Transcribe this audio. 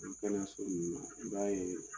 kɛnɛyaso ninnu na i b'a ye